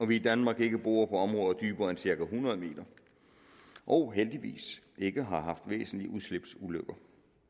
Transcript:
vi i danmark ikke borer dybere end cirka hundrede meter og heldigvis ikke har haft væsentlige udslipsulykker